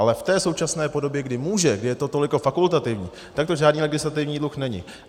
Ale v té současné podobě, kdy může, kdy je to toliko fakultativní, tak to žádný legislativní dluh není.